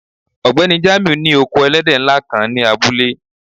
Ọgbẹni Jamiu ni oko èlẹ̀dẹ́ nlá kan ni abúlé